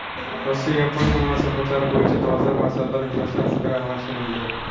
Rossiya-Yaponiya munosabatlari bo‘yicha dolzarb masalalar yuzasidan fikr almashinildi.